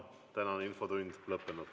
Tänane infotund on lõppenud.